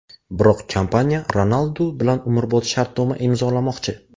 Biroq kompaniya Ronaldu bilan umrbod shartnoma imzolamoqchi.